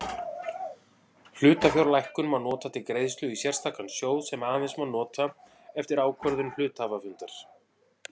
Hlutafjárlækkun má nota til greiðslu í sérstakan sjóð sem aðeins má nota eftir ákvörðun hluthafafundar.